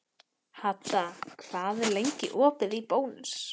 Hadda, hvað er lengi opið í Bónus?